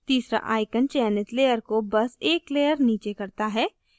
तीसरा icon चयनित layer को बस एक layer नीचे करता है